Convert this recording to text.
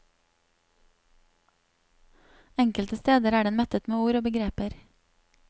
Enkelte steder er den mettet med ord og begreper.